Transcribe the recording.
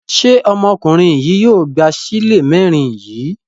Ṣé ọmọkùnrin yìí yóò gba ṣílè mẹ́rin yìí?